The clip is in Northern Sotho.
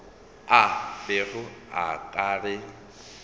a bego a ka re